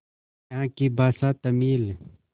यहाँ की भाषा तमिल